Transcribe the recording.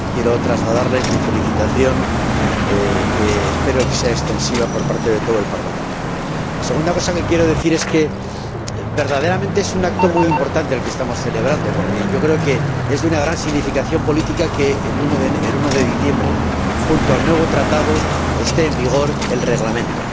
Quiero trasladarles mi felicitación, que espero sea extensiva por parte de todo el Parlamento. La segunda cosa que quiero decir es que verdaderamente es un acto muy importante el que estamos celebrando, porque creo que es de una gran significación política que el 1 de diciembre, junto al nuevo Tratado, esté en vigor el Reglamento.